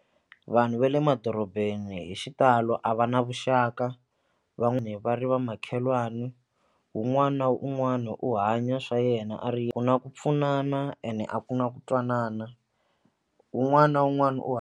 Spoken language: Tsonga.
Vanhu va le madorobeni hi xitalo a va na vuxaka va ri va makhelwani un'wana na un'wana u hanya swa yena a ri ku na ku pfunana ene a ku na ku twanana un'wana na un'wana u.